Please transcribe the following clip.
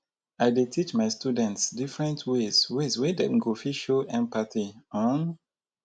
i dey teach my students different ways ways wey dem go fit show empathy. um